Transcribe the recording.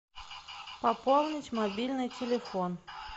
пополнить мобильный телефон